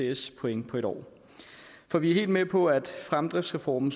etcs point på et år for vi er helt med på at fremdriftsreformen